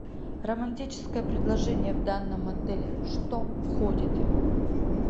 романтическое предложение в данном отеле что входит